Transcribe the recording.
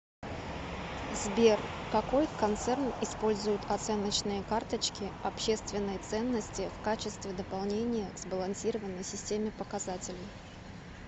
сбер какой концерн использует оценочные карточки общественной ценности в качестве дополнения к сбалансированной системе показателей